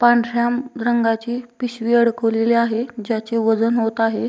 पांढऱ्या म रंगाची पिशवी अडकवलेली आहे ज्याचे वजन होत आहे.